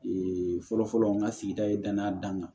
Ee fɔlɔ-fɔlɔ n ka sigida ye danaya danna